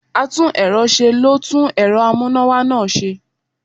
atún erò se, lo tún erò amuna-wa naa se